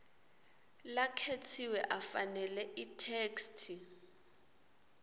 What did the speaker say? lakhetsiwe afanele itheksthi